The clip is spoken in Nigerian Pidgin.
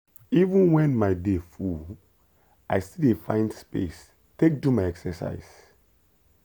even when my day full i still dey find space take do my exercise.